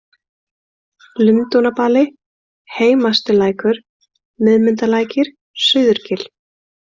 Lundúnabali, Heimastilækur, Miðmundalækir, Suðurgil